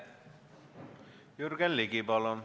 Jürgen Ligi, palun!